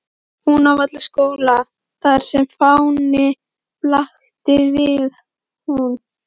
Húnavallaskóla, þar sem fáni blaktir við hún.